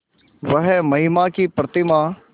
वह महिमा की प्रतिमा